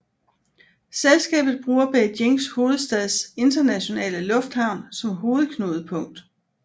Selskabet bruger Beijing Hovedstads Internationale Lufthavn som hovedknudepunkt